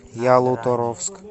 ялуторовск